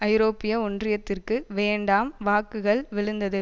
ஐரோப்பிய ஒன்றியத்திற்கு வேண்டாம் வாக்குகள் விழுந்தது